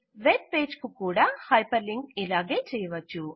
web page కు hyperlinking కూడా ఇలాగే చేయవచ్చు